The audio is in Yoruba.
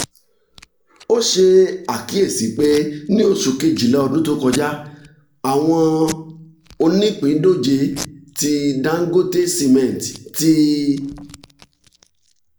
o ṣe akiyesi pe ni oṣu kejila ọdun to kọja awọn onipindoje ti dangote cement ti